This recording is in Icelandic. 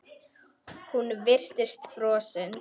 Hún virtist frosin.